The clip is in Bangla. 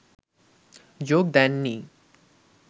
যোগ দেন নি